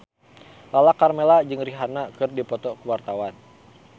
Lala Karmela jeung Rihanna keur dipoto ku wartawan